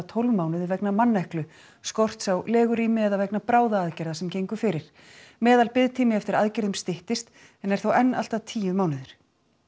tólf mánuðum vegna manneklu skorts á legurými eða vegna bráðaaðgerða sem gengu fyrir meðalbiðtími eftir aðgerðum styttist en er þó enn allt að tíu mánuðir